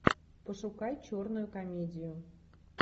пошукай черную комедию